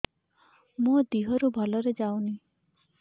ମୋ ଦିହରୁ ଭଲରେ ଯାଉନି